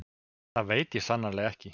Það veit ég sannarlega ekki